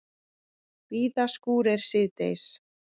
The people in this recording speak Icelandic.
Víða skúrir síðdegis